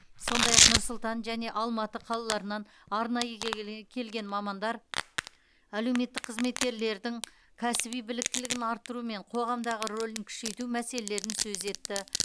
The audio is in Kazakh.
сондай ақ нұр сұлтан және алматы қалаларынан арнайы кеге келген мамандар әлеуметтік қызметкерлердің кәсіби біліктілігін арттыру мен қоғамдағы рөлін күшейту мәселелерін сөз етті